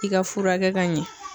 I ka furakɛ ka ɲɛ